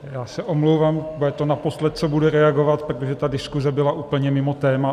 Já se omlouvám, bude to naposled, co budu reagovat, protože ta diskuze byla úplně mimo téma.